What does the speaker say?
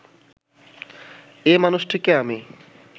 এ মানুষটিকে আমি